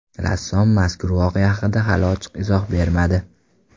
Rassom mazkur voqea haqida hali ochiq izoh bermadi.